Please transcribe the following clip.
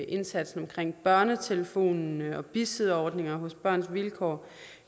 indsatsen med børnetelefonen og bisidderordninger hos børns vilkår